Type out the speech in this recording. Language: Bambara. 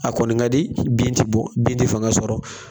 A kɔni kadi bin tɛ bɔ bin tɛ fanga sɔrɔ.